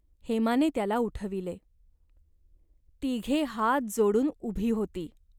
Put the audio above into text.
हेमाने त्याला उठविले. तिघे हात जोडून उभी होती.